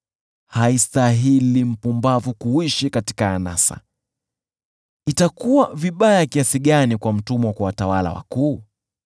Haistahili mpumbavu kuishi katika anasa, itakuwa vibaya kiasi gani kwa mtumwa kuwatawala wakuu.